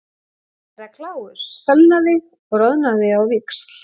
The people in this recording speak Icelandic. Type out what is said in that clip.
Herra Kláus fölnaði og roðanaði á víxl.